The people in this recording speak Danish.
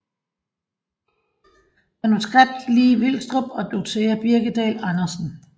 Manuskript Li Vilstrup og Dorthea Birkedal Andersen